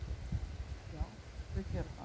Já, þau gera það.